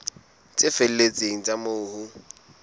tse felletseng tsa moo ho